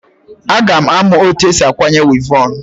Aga m amụ otu esi akwanye wivọn.